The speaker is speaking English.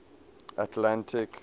atlantic